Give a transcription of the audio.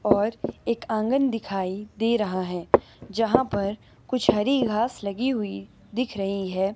और एक आंगन दिखाई दे रहा है जहां पर कुछ हरी घास लगी हुई दिख रही है।